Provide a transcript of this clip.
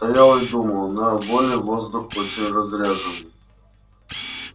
стоял и думал на воле воздух очень разряженный